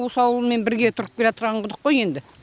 осы ауылмен бірге тұрып келатырған құдық қой енді